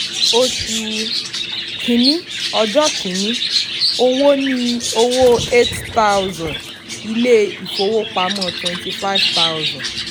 oṣù kìíní ọjọ́ kìíní: owó ní ọwọ́ eighty thousand ilé ìfowópamọ́ twenty five thousand.